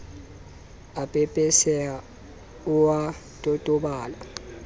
a pepeseha o a totobala